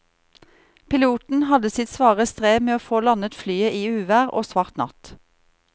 Piloten hadde sitt svare strev med å få landet flyet i uvær og svart natt.